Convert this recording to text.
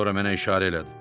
Sonra mənə işarə elədi.